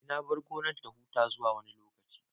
Eh, na bar gonar ta huta zuwa wani lokaci